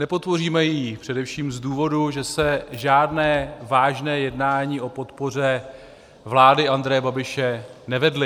Nepodpoříme ji především z důvodu, že se žádná vážná jednání o podpoře vlády Andreje Babiše nevedla.